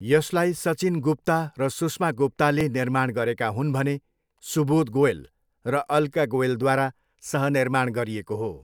यसलाई सचिन गुप्ता र सुष्मा गुप्ताले निर्माण गरेका हुन् भने सुबोध गोयल र अल्का गोयलद्वारा सह निर्माण गरिएको हो।